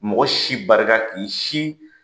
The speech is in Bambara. Mɔgɔ si barika k'i si